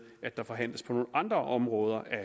at der forhandles på nogle andre områder af